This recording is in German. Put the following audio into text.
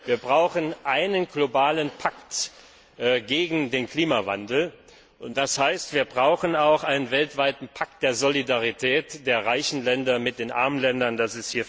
Wir brauchen einen globalen Pakt gegen den Klimawandel, und das heißt, dass wir auch einen weltweiten Pakt der Solidarität der reichen Länder mit den armen Ländern brauchen.